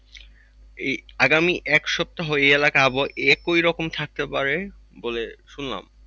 এই আগামী এক সপ্তাহ এই এলাকার আবহাওয়া একই রকম থাকতে পারে বলে শুনলাম।